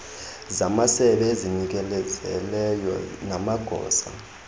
zamasebe ezizinikezeleyo namagosa